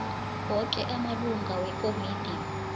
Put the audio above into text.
woke amalungu wekomidi